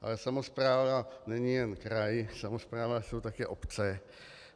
Ale samospráva není jen kraj, samospráva jsou také obce.